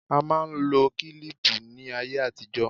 A máa ń lo kílíìpù ní ayé àtijó.